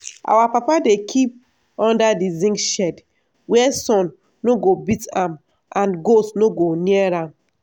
our papa dey kip under di zinc shed wia sun no go beat am and goat no go near am.